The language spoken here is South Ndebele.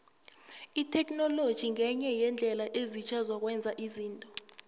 itheknoloji ngenye yeendlela ezitjha zokwenza izinto